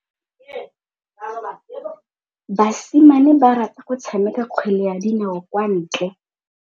Basimane ba rata go tshameka kgwele ya dinaô kwa ntle.